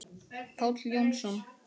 Páll Jónsson